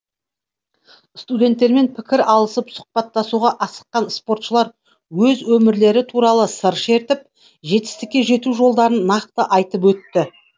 студенттермен пікір алысып сұхбаттасуға асыққан спортшылар өз өмірлері туралы сыр шертіп жетістікке жету жолдарын нақты айтып өтті